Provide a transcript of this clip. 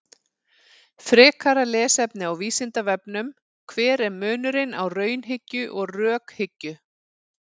Frekara lesefni á Vísindavefnum: Hver er munurinn á raunhyggju og rökhyggju?